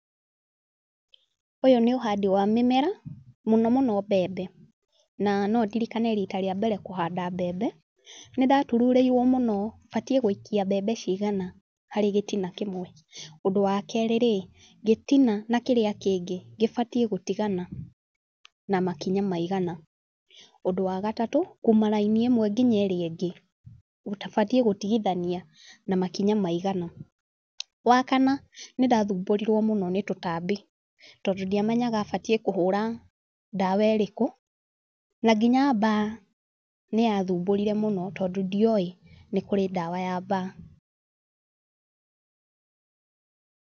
Ũyũ nĩ ũhandi wa mĩmera, mũno mũno mbembe. Na no ndirikane riita rĩa mbere kũhanda mbembe. Nĩ ndatururĩirwo mũno, batiĩ gũikia mbembe cigana harĩ gĩtina kĩmwe. Ũndúũwa keerĩ rĩ, gĩtina na kĩrĩa kĩngĩ, gĩbatiĩ gũtigana na makinya maigana. Ũndũ wa gatatũ, kuuma raini ĩmwe nginya ĩrĩa ĩngĩ, batiĩ gũtigithania na makinya maigana. Wa kana, nĩ ndathumbũrirwo mũno nĩ tũtambi tondũ ndiamenyaga batiĩ kũhũra ndawa ĩrĩkũ. Na nginya mbaa, nĩ yathumbũrire mũno, tondũ ndioĩ, nĩ kũrĩ ndawa ya mbaa.